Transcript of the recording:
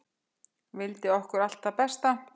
Vildi okkur allt það besta.